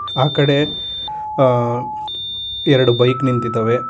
ಆ ಕಡೆ ಆ ಎರಡು ಬೈಕ್ ನಿಂತಿದಾವೆ.